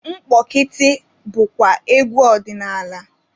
Mkpọkịtị bụkwa egwu ọdinaala.